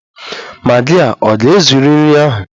Magi a ga-ezuru nri ahụ?